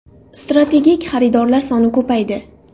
Strategik xaridorlar soni ko‘paydi.